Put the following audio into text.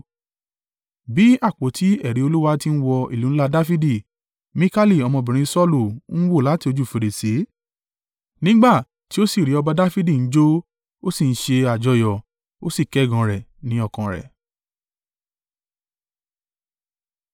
Bí àpótí ẹ̀rí Olúwa ti ń wọ ìlú ńlá Dafidi, Mikali ọmọbìnrin Saulu ń wò láti ojú fèrèsé nígbà tí ó sì rí ọba Dafidi ń jó, ó sì ń ṣe àjọyọ̀, ó sì kẹ́gàn rẹ̀ ní ọkàn rẹ̀.